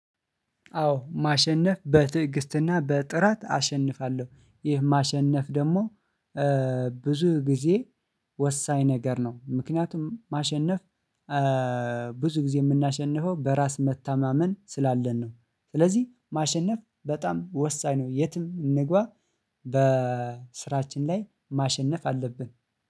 አዎ ማሸነፍ በትዕግስትና በጥራት አሸንፋለሁ። ይህ ማሸነፍ ደግሞ ብዙ ጊዜ ወሳኝ ነገር ነው። ምክንያቱም ማሸነፍ ብዙ ጊዜ የምናሸንፈው በራስ መታማመን ስላለን ነው። ስለዚህ ማሸነፍ በጣም ወሳኝ ነው። የትም እንግባ በስራችን ላይ ማሸነፍ አለብን